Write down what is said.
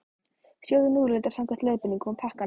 Sjóðið núðlurnar samkvæmt leiðbeiningum á pakkanum.